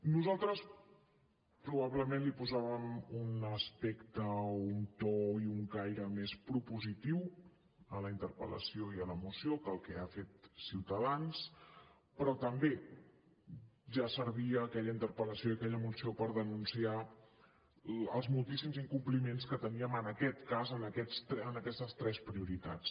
nosaltres probablement hi posàvem un aspecte o un to i un caire més propositiu a la interpel·lació i a la moció que el que ha fet ciutadans però també ja servien aquella interpel·lació i aquella moció per denunciar els moltíssims incompliments que teníem en aquest cas en aquestes tres prioritats